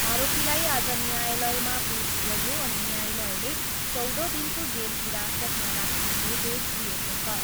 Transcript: आरोपीलाई आज न्यायालयमा पेस गरियो अनि न्यायालयले चौध दिनको जेल हिरासतमा राख्ने निर्देश दिएको छ।